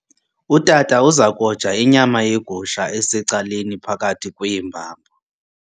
Utata uza koja inyama yegusha esecaleni phakathi kweembambo.